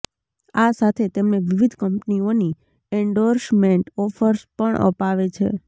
આ સાથે તેમને વિવિધ કંપનીઓની એન્ડોર્સમેન્ટ ઓફર્સ પણ અપાવે છે